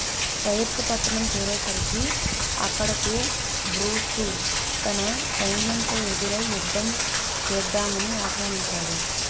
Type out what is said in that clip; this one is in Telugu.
పైర్త్ పట్టణం చేరేసరికి అక్కడకు బ్రూసు తన సైన్యంతో ఎదురై యుద్ధం చేద్దామని ఆహ్వానించాడు